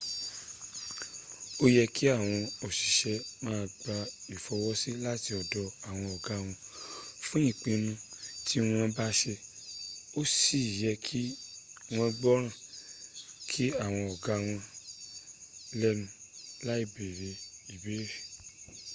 ó yé kí àwọn òṣìṣẹ́ ma gba ìfọwọ́sí láti ọ̀dọ̀ àwọn ọ̀gá wọn fún ìpinu tí wọ́n bá ṣe ó sì yẹ kí wọ́n gbọ́nràn sí àwọn ọ̀gá wọn lẹ́nu láì bèrè ìbéèrè